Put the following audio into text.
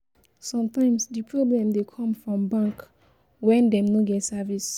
Sometimes, di problem dey come from bank when dem no get service